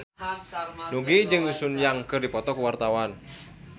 Nugie jeung Sun Yang keur dipoto ku wartawan